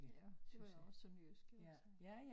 Ja det var jo også sådan jysk iggås så